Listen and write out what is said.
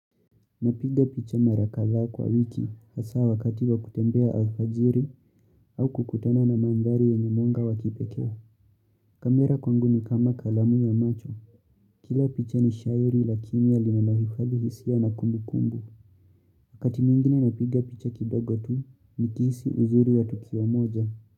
Napiga picha mara kadhaa kwa wiki hasa wakati wa kutembea alfajiri au kukutana na mandhari yenye mwanga wakipekewa. Kamera kwangu ni kama kalamu ya macho. Kila picha ni shairi lakini linanohifadhi hisia na kumbu kumbu. Wakati mwingine napiga picha kidogo tu nikihisi uzuri wa tukio moja.